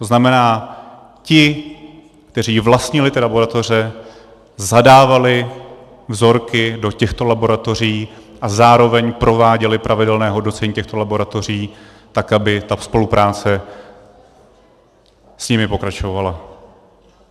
To znamená, ti, kteří vlastnili ty laboratoře, zadávali vzorky do těchto laboratoří a zároveň prováděli pravidelné hodnocení těchto laboratoří tak, aby ta spolupráce s nimi pokračovala.